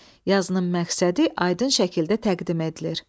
Yazının məqsədi aydın şəkildə təqdim edilir.